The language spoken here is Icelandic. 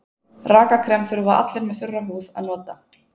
Rakakrem þurfa allir með þurra húð að nota.